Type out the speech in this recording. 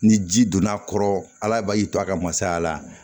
Ni ji donna a kɔrɔ ala b'a ji to a ka masaya la